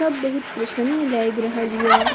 सब बहुत प्रसन्न लग रहलीए।